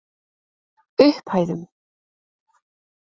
Upphæðum